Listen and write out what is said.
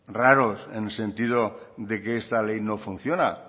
raros en el sentido de que esta ley no funciona